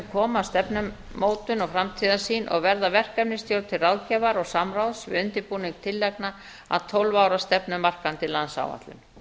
koma að stefnumótun og framtíðarsýn og verða verkefnisstjórn til ráðgjafar og samráðs við undirbúning tillagna að tólf ára stefnumarkandi landsáætlun